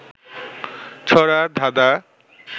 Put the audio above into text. ছড়া, ধাঁধা